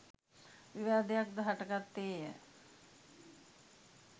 විවාදයක් ද හටගත්තේ ය.